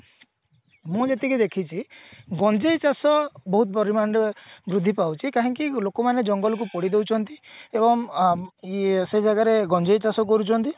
ମୁଁ ଯେତିକି ଦେଖିଛି ଗଞ୍ଜେଇ ଚାଷ ବହୁତ ପରିମାଣରେ ବୃଦ୍ଧି ପାଉଛି କାହିଁକି ଲୋକମାନେ ଜଙ୍ଗଲକୁ ପୋଡି ଦଉଛନ୍ତି ଏବଂ ଅ ଇଏ ସେ ଜାଗାରେ ଗଞ୍ଜେଇ ଚାଷ କରୁଛନ୍ତି